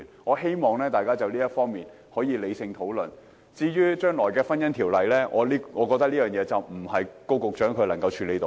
我希望大家可以就此理性討論，至於《婚姻條例》將來的走向，我認為這並非高局長可以處理得到。